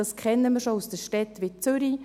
Dies kennen wir schon aus Städten wie Zürich.